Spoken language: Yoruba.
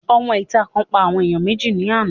Òmọ ìta kan pa àwọn ènìyàn méjì ní àná